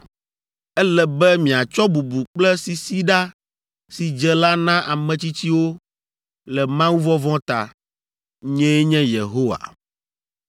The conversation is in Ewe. “ ‘Ele be miatsɔ bubu kple sisiɖa si dze la na ame tsitsiwo le Mawuvɔvɔ̃ ta. Nyee nye Yehowa!